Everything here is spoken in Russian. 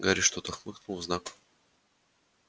гарри что-то хмыкнул в знак